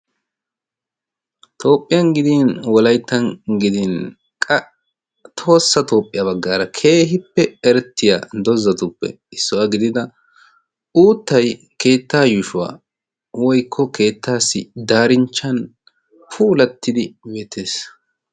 Toophiyaan gidin wolayttan gidin qa tohossa toophiyaan baggara keehippe eretiyaa doozatuppe issuwaa gidida uuttay keetta yushshuwan woykko darinchchan keehippe puulatidi beettees.